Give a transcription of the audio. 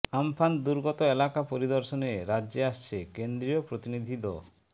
Amphan দুর্গত এলাকা পরিদর্শনে রাজ্যে আসছে কেন্দ্রীয় প্রতিনিধি দ